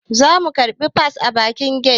Za mu karbi fas a bakin get